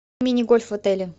мини гольф в отеле